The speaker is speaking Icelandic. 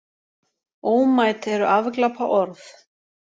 Ómæt eru afglapaorð.